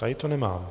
Tady to nemám.